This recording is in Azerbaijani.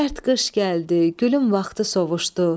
Sərt qış gəldi, gülüm vaxtı sovuşdu.